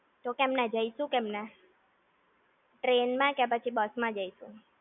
તો કેમના, જઈશું કેમના? Train માં કે પછી બસ માં જઈશું?